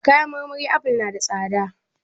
A kayan marmari aful na da tsada.